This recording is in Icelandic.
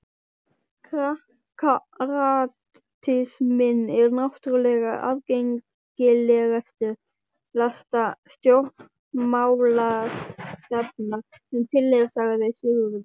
Kratisminn er náttúrlega aðgengilegasta stjórnmálastefna sem til er, sagði Sigurður.